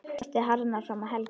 Frostið harðnar fram að helgi.